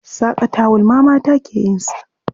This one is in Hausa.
Saƙa tawul ma mata ke yin sa.